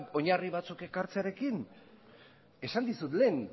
oinarri batzuk ekartzearekin esan dizut lehen